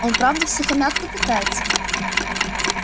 он правда в сухомятку питается